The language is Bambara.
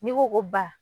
N'i ko ko ba